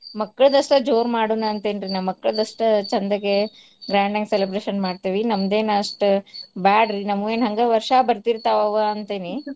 ಮಕ್ಳದಷ್ಟ ಜೋರ್ ಮಾಡೋಣ್ ಅಂತೇನ್ರಿ ನಾ ಮಕ್ಳದಷ್ಟ ಚಂದೇಗೆ grand ಆಗ್ celebration ಮಾಡ್ತೇವಿ ನಮ್ದೇನ್ ಅಷ್ಟ್ ಬ್ಯಾಡ್ರಿ ನಮ್ಮುವೇನ್ ಹಂಗ ವರ್ಷಾ ಬರ್ತೀರ್ತಾವ ಅವ ಅಂತೇನಿ .